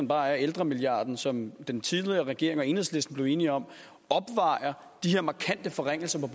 bare er ældremilliarden som den tidligere regering og enhedslisten blev enige om opvejer de her markante forringelser